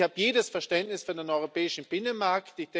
Ich habe jedes Verständnis für den europäischen Binnenmarkt.